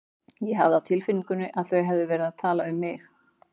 Ég hafði á tilfinningunni að þau hefðu verið að tala um mig.